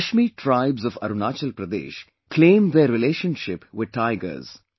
Mishmi tribes of Arunachal Pradesh claim their relationship with tigers